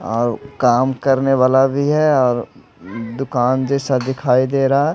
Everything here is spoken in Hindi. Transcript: और काम करने वाला भी है और दुकान जैसा दिखाई दे रहा--